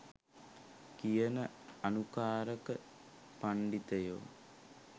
කියන අනුකාරක පණ්ඩිතයො.